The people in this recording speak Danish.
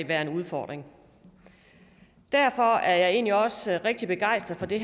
være en udfordring derfor er jeg egentlig også rigtig begejstret for det